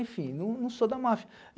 Enfim, não não sou da máfia.